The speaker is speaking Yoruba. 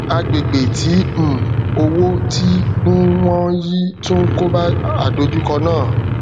agbègbè tí um owó tí n wọn yii tun koba àdojúkọ naa